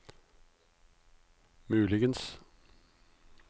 muligens